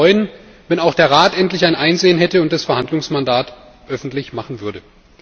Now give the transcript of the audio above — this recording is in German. Ich würde mich freuen, wenn auch der Rat endlich ein Einsehen hätte und das Verhandlungsmandat öffentlich machen würde.